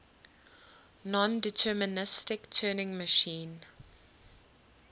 nondeterministic turing machine